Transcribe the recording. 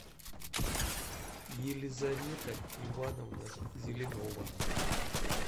елизавета ивановна зеленова